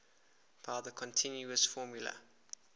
by the continuous formula